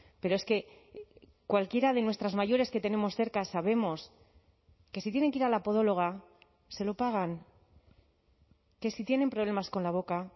pero es que cualquiera de nuestras mayores que tenemos cerca sabemos que si tienen que ir a la podóloga se lo pagan que sí tienen problemas con la boca